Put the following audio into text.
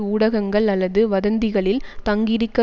ஊடகங்கள் அல்லது வதந்திகளில் தங்கியிருக்க